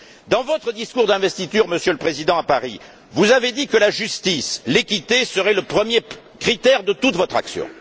Dans votre discours d'investiture à Paris, Monsieur le Président, vous avez déclaré que la justice, l'équité serait le premier critère de toute votre action.